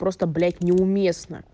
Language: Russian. просто блядь неуместно